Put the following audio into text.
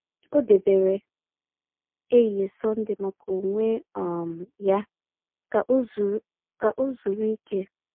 O debere ehihie Sọnde maka onwe um ya ka o zuru ka o zuru ike.